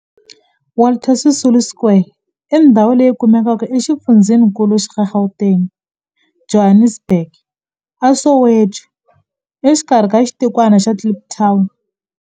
Walter Sisulu Square i ndhawu leyi kumekaka exifundzheninkulu xa Gauteng, Johannesburg, a Soweto, exikarhi ka xitikwana xa Kliptown.